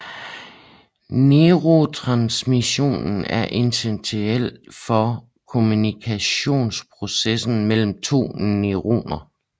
Neurotransmission er essentiel for kommunikationsprocessen mellem to neuroner